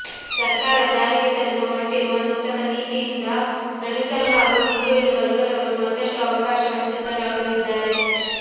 ಸರ್ಕಾರ ಜಾರಿಗೆ ತರಲು ಹೊರಟಿರುವ ನೂತನ ನೀತಿಯಿಂದ ದಲಿತರು ಹಾಗೂ ಹಿಂದುಳಿದ ವರ್ಗದವರು ಮತ್ತಷ್ಟು ಅವಕಾಶ ವಂಚಿತರಾಗಲಿದ್ದಾರೆ